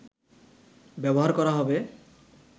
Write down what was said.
ব্যবহার করা হবে